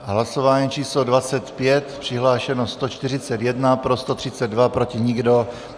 Hlasování číslo 25, přihlášeno 141, pro 132, proti nikdo.